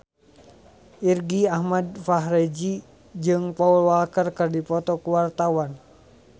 Irgi Ahmad Fahrezi jeung Paul Walker keur dipoto ku wartawan